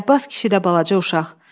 Əlabbas kişi də balaca uşaq.